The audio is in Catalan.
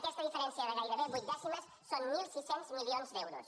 aquesta diferència de gairebé vuit dècimes són mil sis cents milions d’euros